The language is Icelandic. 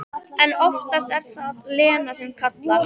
En oftast er það Lena sem kallar.